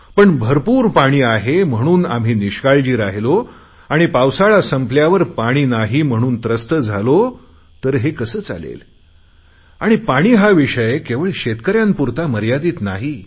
पण भरपूर पाणी आहे म्हणून आम्ही निष्काळजी रहिलो आणि पावसाळा संपल्यावर पाणी नाही म्हणून त्रस्त झालो तर हे कसे चालेल आणि पाणी हा विषय केवळ शेतकऱ्यांपुरता मर्यादित नाही